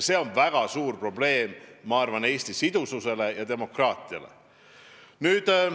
See on väga suur probleem Eesti sidususe ja demokraatia seisukohast.